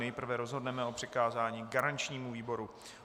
Nejprve rozhodneme o přikázání garančnímu výboru.